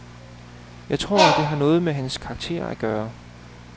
Jeg tror det har noget med hans karakter at gøre.